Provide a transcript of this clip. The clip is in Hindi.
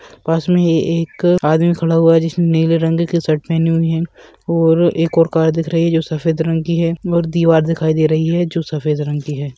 पास में ही एक आदमी खड़ा हुआ है जिसने नीले रंग की शर्ट पहनी हुई है और एक ओर कार है जो सफेद रंग की दिख रही है और दीवार दिख रही है जो सफेद रंग की है।